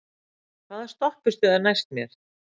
Vaka, hvaða stoppistöð er næst mér?